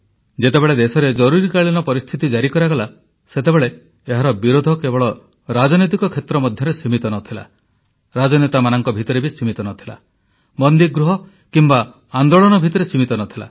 ଯେତେବେଳେ ଦେଶରେ ଜରୁରୀକାଳୀନ ପରିସ୍ଥିତି ଜାରି କରାଗଲା ସେତେବେଳେ ଏହାର ବିରୋଧ କେବଳ ରାଜନୈତିକ କ୍ଷେତ୍ର ମଧ୍ୟରେ ସୀମିତ ନ ଥିଲା ରାଜନେତାମାନଙ୍କ ଭିତରେ ସୀମିତ ନ ଥିଲା ବନ୍ଦୀଗୃହ କିମ୍ବା ଆନ୍ଦୋଳନ ଭିତରେ ସୀମିତ ନ ଥିଲା